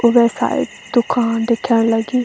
ऊबे साइड दूकान दिखेंण लगीं।